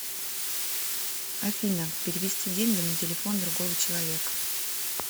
афина перевести деньги на телефон другого человека